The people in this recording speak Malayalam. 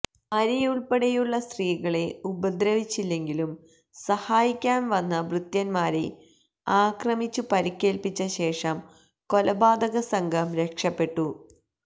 ഭാര്യയുൾപ്പടെയുള്ള സ്ത്രീകളെ ഉപദ്രവിച്ചില്ലെങ്കിലും സഹായിക്കാൻ വന്ന ഭൃത്യന്മാരെ ആക്രമിച്ചു പരിക്കേൽപ്പിച്ച ശേഷം കൊലപാതക സംഘം രക്ഷപ്പെട്ടു